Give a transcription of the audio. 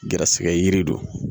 Garisigɛ yiri don